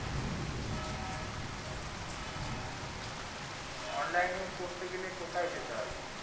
online এ করতে গেলে কোথায় যেতে হবে